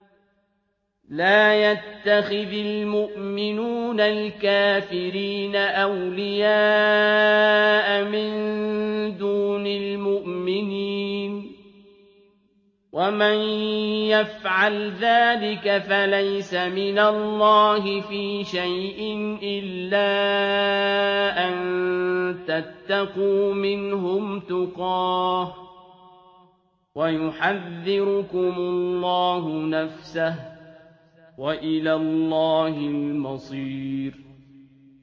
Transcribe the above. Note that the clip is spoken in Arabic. لَّا يَتَّخِذِ الْمُؤْمِنُونَ الْكَافِرِينَ أَوْلِيَاءَ مِن دُونِ الْمُؤْمِنِينَ ۖ وَمَن يَفْعَلْ ذَٰلِكَ فَلَيْسَ مِنَ اللَّهِ فِي شَيْءٍ إِلَّا أَن تَتَّقُوا مِنْهُمْ تُقَاةً ۗ وَيُحَذِّرُكُمُ اللَّهُ نَفْسَهُ ۗ وَإِلَى اللَّهِ الْمَصِيرُ